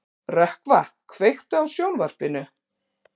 Rökkva, kveiktu á sjónvarpinu.